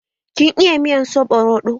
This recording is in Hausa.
Kin iya miyar soɓo roɗo?